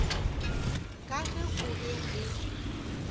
ka ge go be go